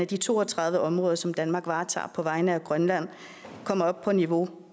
de to og tredive områder som danmark varetager på vegne af grønland kommer op på niveau